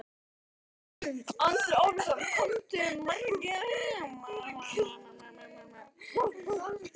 Andri Ólafsson: Komu margir hingað?